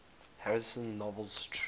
harrison's novel true